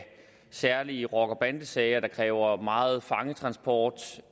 særlige rocker og bandesager der kræver megen fangetransport